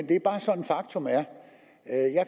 det bare er sådan faktum er